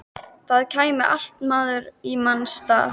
Það kæmi alltaf maður í manns stað.